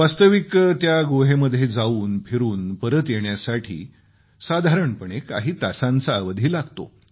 वास्तविक त्या गुहेमध्ये जाऊन फिरून परत येण्यासाठी साधारणपणे काही तासांचा अवधी लागतो